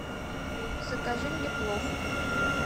закажи мне плов